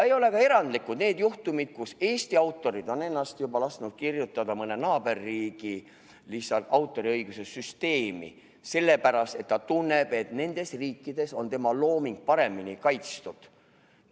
Ei ole erandlikud ka need juhtumid, kus Eesti autor on juba lasknud lihtsalt kirjutada ennast mõne naaberriigi autoriõiguse süsteemi, sest ta tunneb, et teises riigis on tema looming paremini kaitstud.